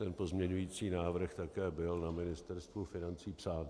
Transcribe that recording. Ten pozměňující návrh také byl na Ministerstvu financí psán.